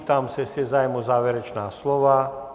Ptám se, jestli je zájem o závěrečná slova.